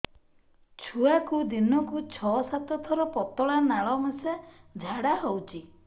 ଛୁଆକୁ ଦିନକୁ ଛଅ ସାତ ଥର ପତଳା ନାଳ ମିଶା ଝାଡ଼ା ହଉଚି